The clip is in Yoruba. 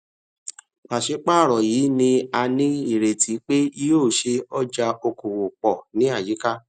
pàṣípààrọ yìí ní a ní ìrètí pé yóò ṣe ọjà okòwò pọ ní àyíká